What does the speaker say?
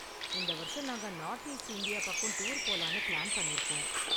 இந்த வருஷம் நாங்க நார்த் ஈஸ்ட் இந்தியா பக்கம் டூர் போலாம்னு பிளான் பண்ணிருக்கோம்.